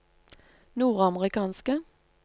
nordamerikanske